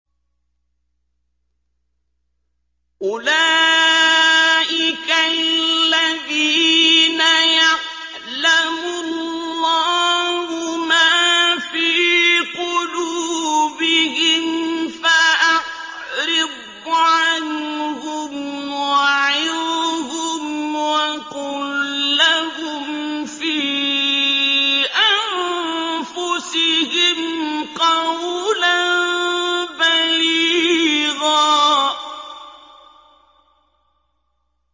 أُولَٰئِكَ الَّذِينَ يَعْلَمُ اللَّهُ مَا فِي قُلُوبِهِمْ فَأَعْرِضْ عَنْهُمْ وَعِظْهُمْ وَقُل لَّهُمْ فِي أَنفُسِهِمْ قَوْلًا بَلِيغًا